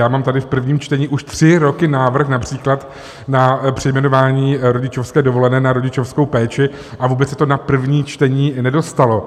Já mám tady v prvním čtení už tři roky návrh například na přejmenování rodičovské dovolené na rodičovskou péči a vůbec se to na první čtení nedostalo.